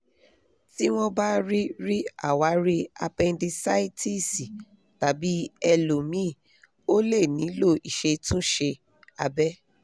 tí wọn bá rí rí àwárí apẹ́ndísáìtísì tàbí ẹ̀lòmíì o lè nílò ìṣètúnṣe abẹ̀